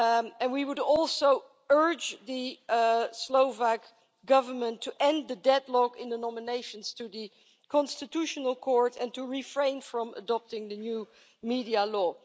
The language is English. And we would also urge the Slovak Government to end the deadlock in the nominations to the Constitutional Court, and to refrain from adopting the new media law.